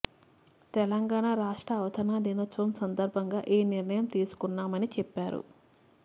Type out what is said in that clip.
తెలంగాణ రాష్ట్ర అవతరణ దినోత్సవం సందర్భంగా ఈ నిర్ణయం తీసుకున్నామని చెప్పారు